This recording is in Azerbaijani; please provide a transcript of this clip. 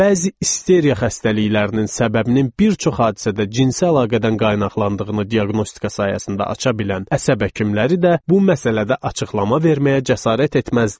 Bəzi isteriya xəstəliklərinin səbəbinin bir çox hadisədə cinsi əlaqədən qaynaqlandığını diaqnostika sayəsində aça bilən əsəb həkimləri də bu məsələdə açıqlama verməyə cəsarət etməzdilər.